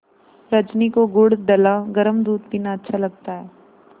रजनी को गुड़ डला गरम दूध पीना अच्छा लगता है